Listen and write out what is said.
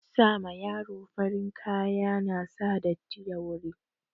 Sa ma yaro farin kaya na sa datti da wuri